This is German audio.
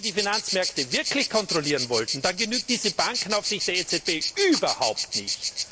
Wenn man die Finanzmärkte wirklich kontrollieren wollte, dann genügt diese Bankenaufsicht der EZB überhaupt nicht.